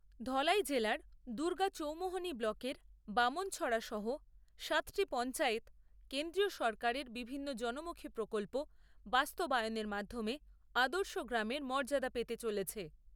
ধলাই জেলার দুর্গা চৌমুহনি ব্লকের বামনছড়া সহ সাতটি পঞ্চায়েত কেন্দ্রীয় সরকারের বিভিন্ন জনমুখী প্রকল্প বাস্তবায়নের মাধ্যমে আদর্শ গ্রামের মর্যাদা পেতে চলেছে।